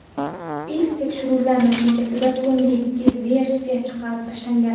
Ilk tekshiruvlar natijasida so‘nggi ikki versiya chiqarib tashlangan.